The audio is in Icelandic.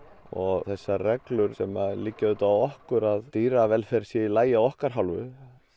og þessar reglur sem liggja á okkur um að dýravelferð sé í lagi af okkar hálfu